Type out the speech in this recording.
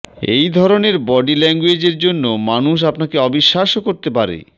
এই ধরনের বডি ল্যাঙ্গুয়েজের জন্য মানুষ আপনাকে অবিশ্বাসও করতে পারে